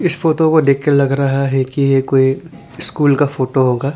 इस फोटो को देख के लग रहा है कि ये कोई स्कूल का फोटो होगा।